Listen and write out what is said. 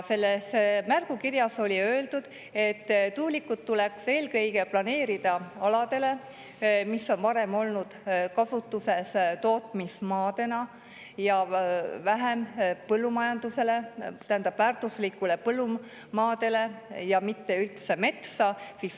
Selles märgukirjas oli öeldud, et tuulikud tuleks eelkõige planeerida aladele, mis on varem olnud kasutuses tootmismaadena, ja vähem väärtuslikele põllumaadele, mitte üldse metsa.